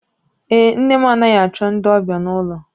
Èé, nne m anaghị achọ ndị ọbịa n'ụlọ.